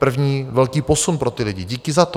První velký posun pro ty lidi, díky za to.